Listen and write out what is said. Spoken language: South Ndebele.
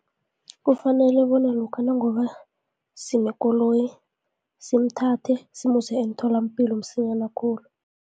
Kufanele bona lokha nakuba sinenkoloyi simuthathe, simuse emtholampilo msinyana khulu.